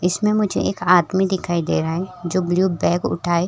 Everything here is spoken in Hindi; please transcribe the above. इसमें मुझे एक आदमी दिखाई दे रहा है जो ब्लू बैग उठाये --